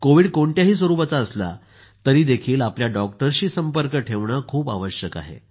Covid कोणत्याही स्वरूपाचा असला तरीही आपल्या डॉक्टरशी संपर्क ठेवणं खूप आवश्यक आहे